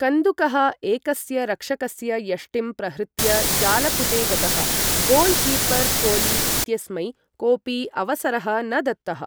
कन्दुकः एकस्य रक्षकस्य यष्टिम् प्रहृत्य जालपुटे गतः, गोल् कीपर् कोली इत्यस्मै कोपि अवसरः न दत्तः।